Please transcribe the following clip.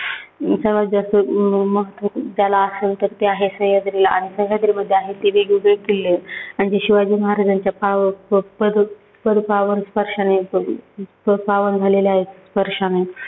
सर्वांत जास्त त्याला आहे. सह्यान्द्रीला आणि सह्यान्द्री मध्ये आहे ते वेगवेगळे किल्ले ते शिवाजी महाराजांच्या पाव पाव पद्पावान स्पर्शाने अं पावन झाले आहेत. स्पर्शाने